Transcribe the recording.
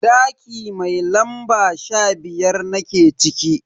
Daki mai lamba sha biyar nake ciki.